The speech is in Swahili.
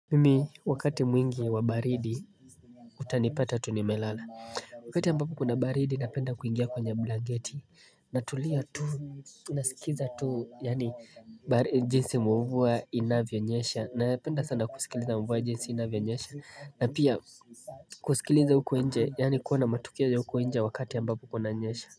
Mimi wakati mwingi wa baridi utanipata tunimelala Wakati ambapo kuna baridi napenda kuingia kwenye blanketi na tulia tu nasikiza tu yani jinsi muvua inavyonyesha na penda sana kusikiliza muvua jinsi inavyonyesha na pia kusikiliza hukuenje yani kuona matukiaja hukuenje wakati ambapo kunanyesha.